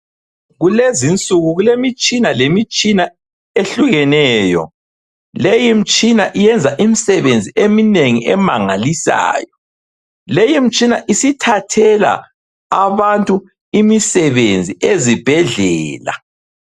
Kulezinsuku kulemitshina lemitshina ehlukeneyo. Leyimtshina yenza imisebenzi eminengi emangalisayo. Leyimtshina isithathela abantu imisebenzi ezibhedlela.